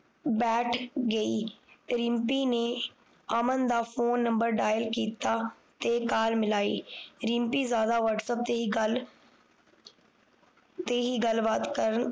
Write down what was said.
ਬੈਠ ਗਈ ਤੇ ਰਿਮਪੀ ਨੇ ਅਮਨ ਦਾ Phone Number Dial ਕੀਤਾ ਤੇ Call ਮਿਲਾਈ ਰਿਮਪੀ ਜ਼ਿਆਦਾ Whatsapp ਤੇ ਹੀ ਗੱਲ ਤੇ ਹੀ ਗੱਲ ਬਾਤ ਕਰਨ